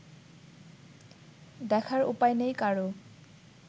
দেখার উপায় নেই কারও